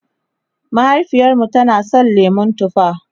mahaifiyarmu tana San lemun tufa